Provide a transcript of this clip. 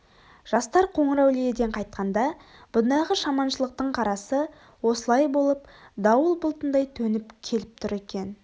жастар қоңырәулиеден қайтқанда бұндағы жаманшылықтың қарасы осылай болып дауыл бұлтындай төніп келіп тұр екен